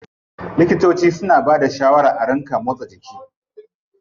Likitoci suna bada shawaran a ringa motsa jiki.